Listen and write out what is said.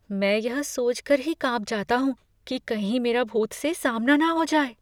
मैं यह सोच कर ही काँप जाता हूँ कि कहीं मेरा भूत से सामना न हो जाए।